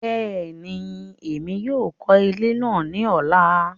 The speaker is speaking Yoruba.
Bẹẹni, Èmí yóò kọ ilé náà ní ọla